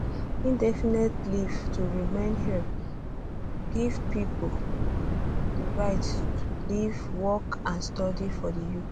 um indefinite leave to remain ilr give pipo di right to live work and study for di um uk